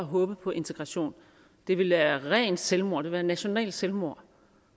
at håbe på integration det vil være rent selvmord det vil være nationalt selvmord